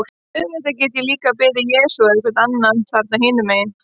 Auðvitað get ég líka beðið Jesú eða einhvern annan þarna hinum megin.